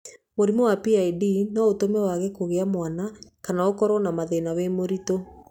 Mũrimũ wa PID no ũtũme wage kũgĩa mwana kana ũkorwo na mathĩna wĩ mũritũ.